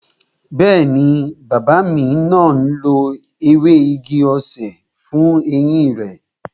Bẹẹni, bàbá náà ń lo ewé igi-osè fún eyín rẹ